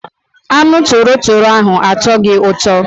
Anụ torotoro ahụ atọghị ụtọ.